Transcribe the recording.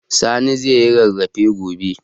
Sani zai yi rarrafe gobe